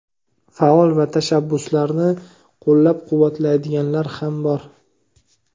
Faol va tashabbuslarni qo‘llab-quvvatlaydiganlar ham bor.